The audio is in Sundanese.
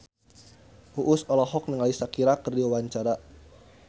Uus olohok ningali Shakira keur diwawancara